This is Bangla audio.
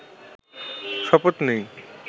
শপথ নিই